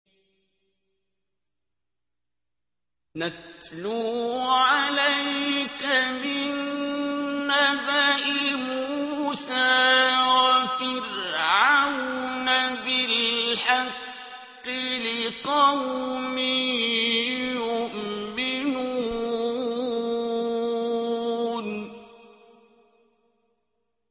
نَتْلُو عَلَيْكَ مِن نَّبَإِ مُوسَىٰ وَفِرْعَوْنَ بِالْحَقِّ لِقَوْمٍ يُؤْمِنُونَ